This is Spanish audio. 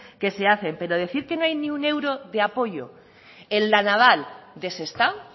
que se hacen pero decir que no hay ni un euro de apoyo en la naval de sestao